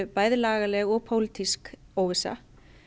bæði lagaleg og pólitísk óvissa